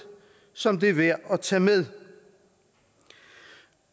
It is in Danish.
som det er værd at tage med